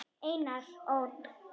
Einar Ól.